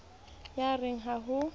ye a re ha ho